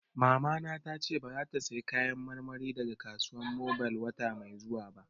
Mamana ta ce ba za ta saya Kayan marmari daga Kasuwan Mobil wata mai zuwa ba